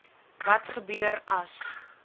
wat gebeur as